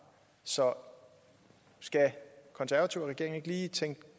så skal konservative og regeringen ikke lige tænke